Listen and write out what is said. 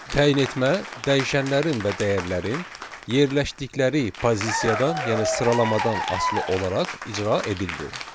Təyin etmə dəyişənlərin və dəyərlərin yerləşdikləri pozisiyadan, yəni sıralamadan asılı olaraq icra edildi.